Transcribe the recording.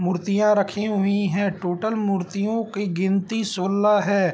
मूर्तियाँ रखी हुई हैं | टोटल मूर्तियों की गिनती सोलह है |